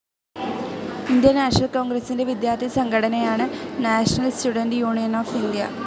Indian National കോൺഗ്രസിന്റെ വിദ്യാർത്ഥി സംഘടനയാണ് National Students Union of India.